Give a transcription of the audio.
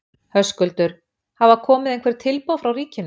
Höskuldur: Hafa komið einhver tilboð frá ríkinu?